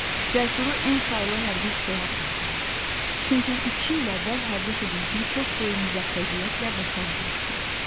Cəsuru N saylı hərbi hissəyə apardılar, çünki iki il əvvəl hərbi xidmətini çox böyük müvəffəqiyyətlə başa vurmuşdu.